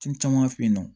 caman fɛ yen nɔ